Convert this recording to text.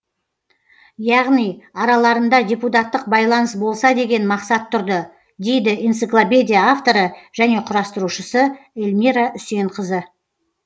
яғни араларында депутаттық байланыс болса деген мақсат тұрды дейді энциклопедия авторы және құрастырушысы эльмира үсенқызы